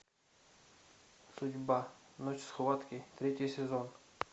судьба ночь схватки третий сезон